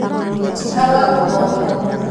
Tĩa arwaru othe.